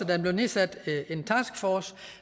der bliver nedsat en taskforce